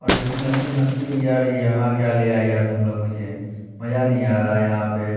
और दो-तीन लड़की हस भी रही है। अरे यहां क्या लिया यार तुम लोग मुझे। मजा नहीं आ रहा है यहां पे।